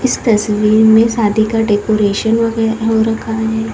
इस तस्वीर में शादी का डेकोरेशन वगैर हो रखा है।